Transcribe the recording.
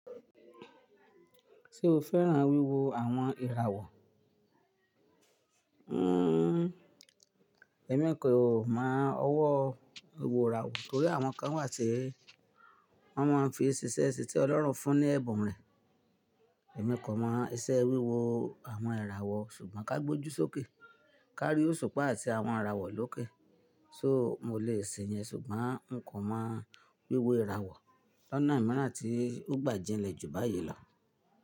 Ṣé o fẹ́ran wíwo àwon ìràwọ̀? Hmmm ẹ̀mi kò mọ ọwọ́ ìwọ̀ràwọ̀ torí àwọn kan wà tí wọ́n máa n fi ṣiṣẹ́ sí tí Ọlọ́run fún ní ẹ̀bùn rẹ̀. Ẹ̀mi kò mọ ìṣe wíwo àwọn ìràwọ̀ ṣùgbọ́n ká gbojú sókè, ká rí òṣùpá àti àwọn ìràwọ̀ lókè. So mo lè ṣe yẹn ṣùgbọ́n n kò mọ wíwo ìràwọ̀ lọ́nà ìmúra tí ó gbà jinlẹ̀ jù báyìí lọ.